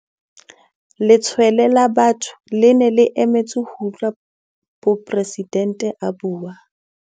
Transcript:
Letshwele la batho le ne le emetse ho utlwa poresidente a bua.